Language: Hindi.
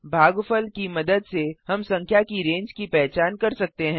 भागफल की मदद से हम संख्या की रेंज की पहचान कर सकते हैं